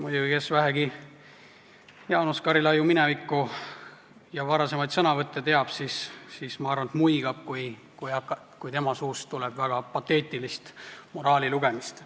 Muidugi, kes vähegi Jaanus Karilaidi minevikku ja varasemaid sõnavõtte teab, see, ma arvan, muigab, kui tema suust tuleb väga pateetilist moraalilugemist.